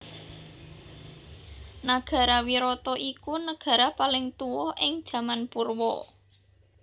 Nagara Wirata iku negara paling tuwa ing jaman Purwa